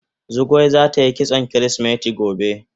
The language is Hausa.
Zugwai zata yi kitson kirisimeti gobe.